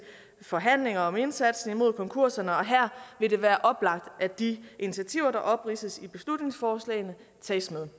forhandlinger om indsatsen imod konkurserne og her vil det være oplagt at de initiativer der opridses i beslutningsforslagene tages med